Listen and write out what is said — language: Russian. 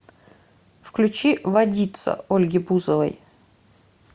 включи водица ольги бузовой